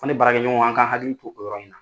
Ne baarakɛ ɲɔgɔn an ka hakili to o yɔrɔ in na.